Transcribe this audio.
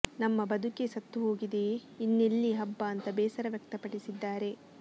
ನಮ್ಮ ಬದುಕೇ ಸತ್ತು ಹೋಗಿದೆ ಇನ್ನೆಲ್ಲಿ ಹಬ್ಬ ಅಂತ ಬೇಸರ ವ್ಯಕ್ತಪಡಿಸಿದ್ದಾರೆ